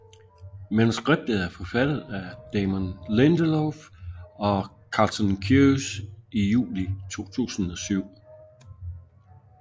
Manuskriptet er forfattet af Damon Lindelof og Carlton Cuse i juli 2007